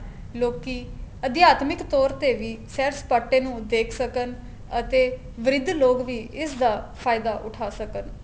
ਲੋਕੀ ਅਦਿਆਤਮੀਕ ਤੋਰ ਤੇ ਵੀ ਸੈਰ ਸਪਾਟੇ ਨੂੰ ਦੇਖ ਸਕਣ ਅਤੇ ਵ੍ਰਿਧ ਲੋਕ ਵੀ ਇਸ ਦਾ ਫਾਇਦਾ ਉਠਾ ਸਕਣ